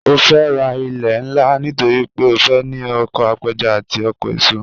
Ó fẹ́ ra ilẹ̀ ńlá nítorí pé ó fẹ́ ní oko apẹja àti oko eso